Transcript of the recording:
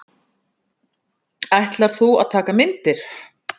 Ætlar þú að taka myndir?